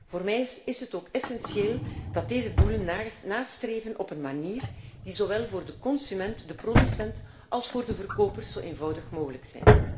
Voor mij is het ook essentieel dat wij deze doelen nastreven op een manier die zowel voor de consument, de producent als voor de verkopers zo eenvoudig mogelijk is.